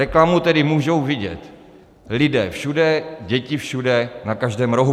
Reklamu tedy můžou vidět lidé všude, děti všude, na každém rohu.